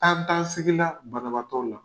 Tan tan sigi la banabaatɔ la.